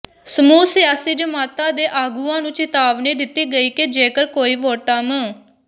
ਸਮੂਹ ਸਿਆਸੀ ਜਮਾਤਾਂ ਦੇ ਆਗੂਆਂ ਨੂੰ ਚਿਤਾਵਨੀ ਦਿੱਤੀ ਗਈ ਕਿ ਜੇਕਰ ਕੋਈ ਵੋਟਾਂ ਮੰ